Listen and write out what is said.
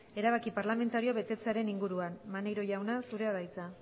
erabaki parlamentarioa betetzearen inguruan maneiro jauna zurea da hitza